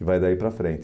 E vai daí para frente.